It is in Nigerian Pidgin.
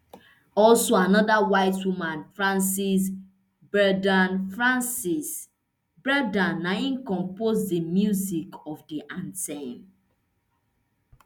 also anoda white woman frances berda frances berda na im compose di music of di anthem